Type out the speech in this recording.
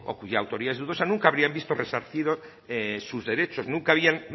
cuya autoría es dudosa nunca habrían visto resarcido sus derechos nunca